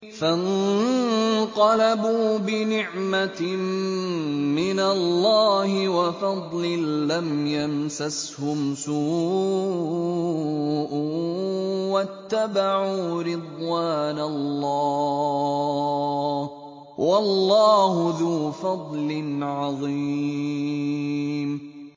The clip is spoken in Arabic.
فَانقَلَبُوا بِنِعْمَةٍ مِّنَ اللَّهِ وَفَضْلٍ لَّمْ يَمْسَسْهُمْ سُوءٌ وَاتَّبَعُوا رِضْوَانَ اللَّهِ ۗ وَاللَّهُ ذُو فَضْلٍ عَظِيمٍ